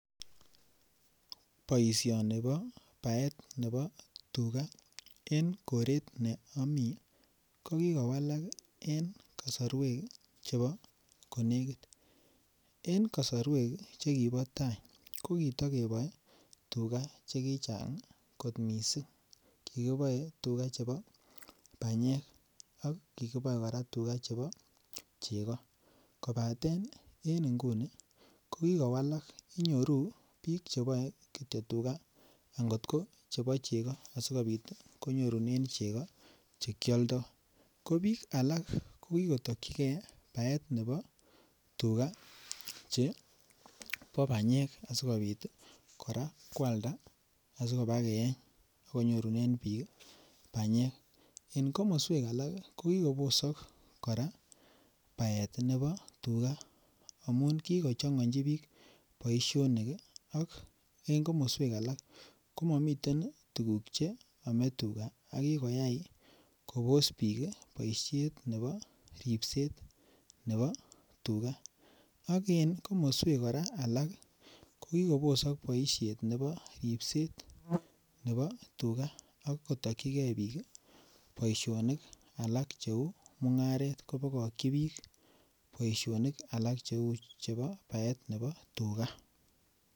Boisioni ko baet nebo tuga en koret ne omii ko kigowalak en kosorwek chebo konekit en kosorwek chekibo taa ko kito keboe tuga che kichang kot missing kikiboe tuga chebo banyek ak kikiboe koraa tuga chebo chego kobaten en ngunii ko kikowalak inyoru biik kityo tuga akot ko chebo chego asikopit konyorunen chego che kyoldo. Ko biik alak ko kikotokyigee baet nebo tuga chebo banyek asikopit ii koraa kwalda asikobaa keeny akenyoruren biik ii banyek. En komoswek alak ii ko kikobosok koraa baet nebo tuga amun kigochongoji biik boisionik ii ak en komoswek alak ko momiten tuguk che oome tuga ako kikoyay Kobos biik boishet nebo ripset nebo tuga. Ak en komoswek koraa alak ii ko kikobosok boishet nebo ripset nebo tuga ak kotokyigee biik ii boisionik alak che uu mungaret ko bokokyi biik boisionik alak che uu nebo baet nebo tuga.